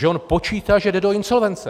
Že on počítá, že jde do insolvence.